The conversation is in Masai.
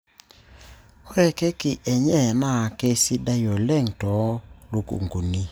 Ore Keki enye naa keisidai oleng too lukunkuni.